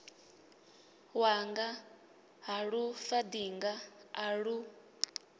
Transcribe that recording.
wanga ha lufaṱinga a lu